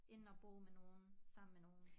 End at bo med nogen sammen med nogen